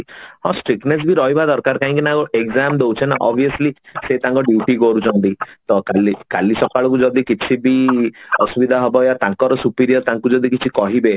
ହଁ Strictness ବି ରହିବା ଦରକାର କାହିଁକି ନା exam ଦଉଛେ ନା obviously ସେ ତାଙ୍କ duty କରୁଛନ୍ତି ତ କାଲି କାଲି ସକାଳକୁ ଯଦି କିଛି ବି ଅସୁବିଧା ହବ ବା ତାଙ୍କର superior ତାଙ୍କୁ ଯଦି କିଛି କହିବେ